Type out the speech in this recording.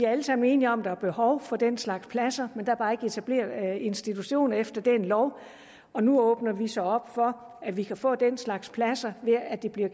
alle sammen enige om at der er behov for den slags pladser men der er bare ikke etableret institutioner efter den lov og nu åbner vi så op for at vi kan få den slags pladser ved at de bliver